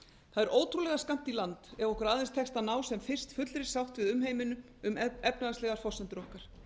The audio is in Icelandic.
það er ótrúlega skammt í land ef okkur aðeins tekst að ná sem fyrst fullri sátt við umheiminn um efnahagslegar forsendur okkar